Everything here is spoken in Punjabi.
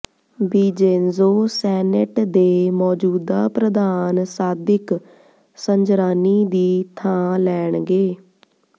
ਬਿਜੇਂਜੋ ਸੈਨੇਟ ਦੇ ਮੌਜੂਦਾ ਪ੍ਰਧਾਨ ਸਾਦਿਕ ਸੰਜਰਾਨੀ ਦੀ ਥਾਂ ਲੈਣਗੇ